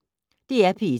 DR P1